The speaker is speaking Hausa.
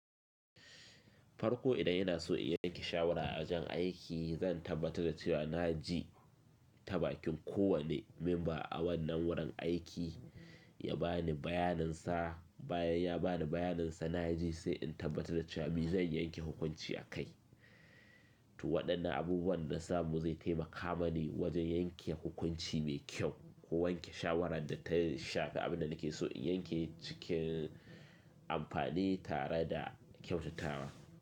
Farko idan yana so in yanke shawara a wajan aiki, zan tabbatar da cewa na ji tabakin kowane memba a wannan wurin aiki ya ba ni bayanin sa, bayan ya ba ni bayanin sa na ji sai in tabbatar da cewa me zan yanke hukunci a kai. To waɗannan abubuwan na samu zai taimaka mani wajen yanke hukunci mai kyau ko wanke shawarar da ta shafa abin da nake so in yanke cikin amfani tare da kyautatawa.